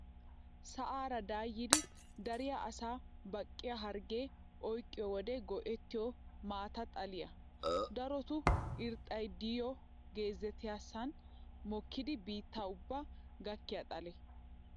Sa"aar dayidi dariyaa asayi baqiyaa hargge oyiqqiyo wode go"ettiyo maata xaliyaa. Daroto irxxayi diyoo gezettiyaasan mokkidi biitta ubbaa gakkiyaa xalee.